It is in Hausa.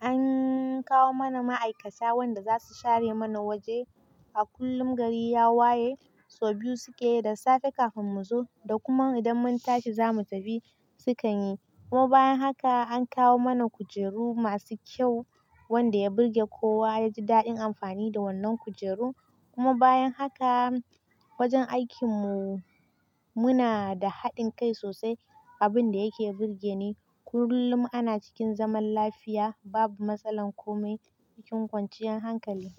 an kawo mana ma'aikata wanda za su share mana waje a kullum gari ya waye, sau biyu suke yi da safe kafin mu zo da kuma idan mun tashi zamu tafi sukan yi kuma bayan haka an kawo mana kujeru masu kyau wanda ya burge kowa yaji daɗin amfani da wannan kujeru kuma bayan haka wajen aikin mu muna da haɗin kai sosai abin da yake burge ne kullum ana cikin zaman lafiya babu matsalan komai cikin kwanciyar hankali.